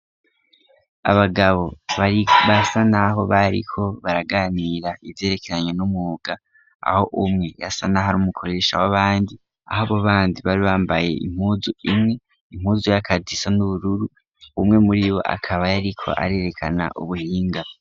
Abagabo bari basa naho bariko baraganira ivyerekeranye n'umwuga aho umwe yasa n'aho ar'umukoresha w'abandi , ah'abo bandi bambaye impuzu imwe, impuzu y'akazi isa n'ubururu, umwe muribo akaba yariko arerekana ubuhinga